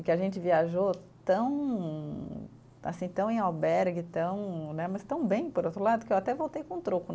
E que a gente viajou tão assim, tão em albergue tão né, mas tão bem, por outro lado, que eu até voltei com um troco.